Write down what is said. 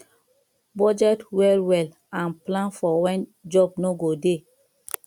budget well well and plan for when job no go dey